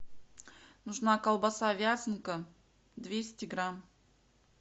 нужна колбаса вязанка двести грамм